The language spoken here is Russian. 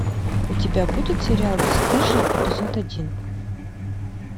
у тебя будет сериал бесстыжие эпизод один